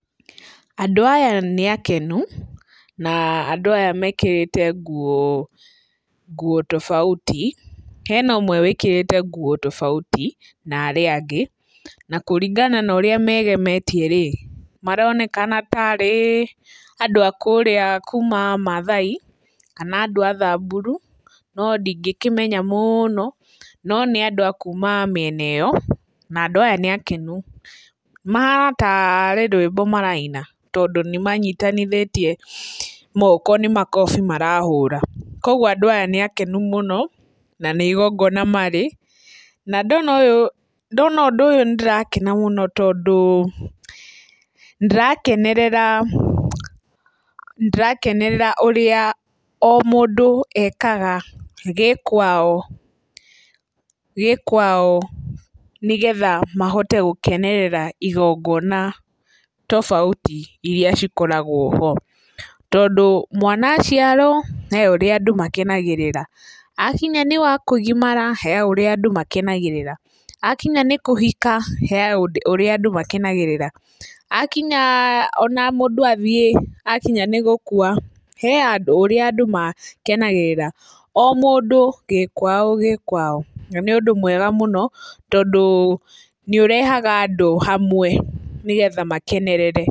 Andũ aya nĩ akenu na andũ aya mekĩrĩte nguo tofauti. Hee na ũmwe wĩkĩrĩte nguo tofauti na arĩa angĩ na kũringana na ũrĩa megemetie rĩ, maronekana ta arĩ andũ a kũrĩa kuma maathai kana andũ a thamburu, no ndingĩkĩmenya mũno no nĩ andũ a kuma mĩena ĩyo na andũ aya nĩakenu. Mahana ta arĩ rwĩmbo maraina tondũ nĩmanyitithanĩtie moko nĩ makobi marahũra. Koguo andũ aya nĩakenu mũno na nĩ igongona marĩ. Na ndona ũndũ ũyũ nĩndĩrakena mũno tondũ ndĩrakenerera, ndĩrakenerera ũrĩa o mũndũ ekaga gĩkwao gĩkwao, nĩgetha mahote gũkenerera igongona tofauti iria cikoragwo ho. Tondũ mwana aciarwo, harĩ ũrĩa andũ makenagĩrĩra, akinya nĩ wa kũgimara, harĩ ũrĩa andũ makenagĩrĩra, akinya nĩ kũhika, harĩ ũrĩa andũ makenagĩrĩra, akinya, ona mũndũ athiĩ akinya nĩ gũkua, harĩ o ũrĩa andũ makenagĩrĩra, o mũndũ gĩkwao gĩkwao. Na nĩ ũndũ mwega mũno, tondũ nĩ ũrehaga andũ hamwe nĩgetha makenerere.